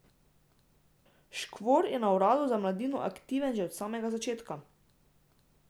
Škvor je na uradu za mladino aktiven že od samega začetka.